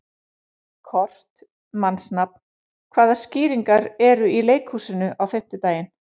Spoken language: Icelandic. Kort (mannsnafn), hvaða sýningar eru í leikhúsinu á fimmtudaginn?